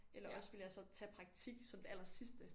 Eller også ville jeg så tage praktik som det aller sidste